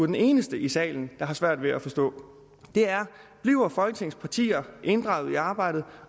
den eneste i salen der har svært ved at forstå og det er bliver folketingets partier inddraget i arbejdet